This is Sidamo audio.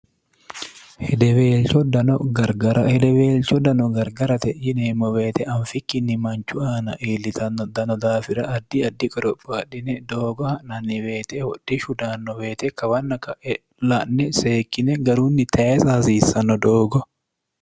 dghedeweelcho dano gargarate yineemmo weete anfikkinni manchu aana iillitanno dano daafira addi addi qorophaadhine doogoha nannibeete hodhi shudanno beete kawanna ela'ne seekkine garunni tayisa hasiissanno doogo